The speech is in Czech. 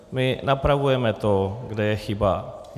My napravujeme to, kde je chyba.